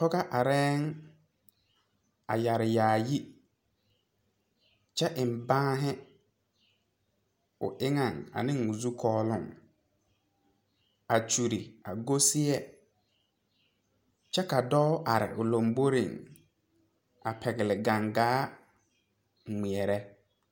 Pɔgega areyɛ a yeere yaayi kyɛ eŋ banne o eŋa ane o zukooluu a kyuure a go seɛ kyɛ ka dɔɔ are o lanboire a pegle gangaa kpɛɛre.